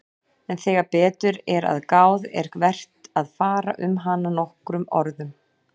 En þegar betur er að gáð er vert að fara um hana nokkrum orðum.